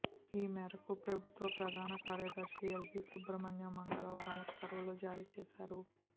ఈ మేరకు ప్రభుత్వ ప్రధాన కార్యదర్శి ఎల్వి సుబ్రమణ్యం మంగళవారం ఉత్తర్వులు జారీ చేశారు